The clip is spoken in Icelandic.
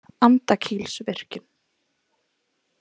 Andakílsvirkjun